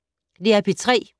DR P3